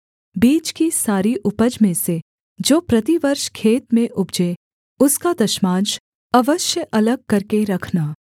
बीज की सारी उपज में से जो प्रतिवर्ष खेत में उपजे उसका दशमांश अवश्य अलग करके रखना